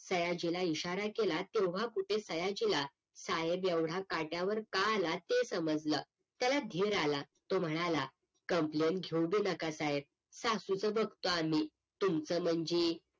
सयाजीला इशारा केला तेव्हा कुठे सयाजीला साहेब एवढा काट्यावर का आला ते समजलं त्याला धेर आला तो म्हणाला copmplain घेऊ भी नका साहेब सासूचं बघतो आम्ही तुमचं म्हणजे